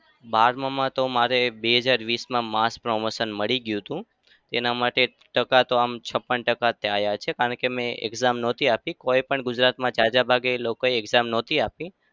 બારમાં માં તો મારે બે હજાર વીસમાં mas promotion મળી ગયું હતું. તેના માટે ટકા તો આમ છપ્પન ટકા આવ્યા છે. કારણ કે મેં exam નહતી આપી. કોઈએ પણ ગુજરાતમાં જાજા ભાગે લોકોએ exam નહતી આપી.